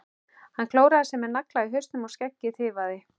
Hann klóraði sér með nagla í hausnum og skeggið tifaði.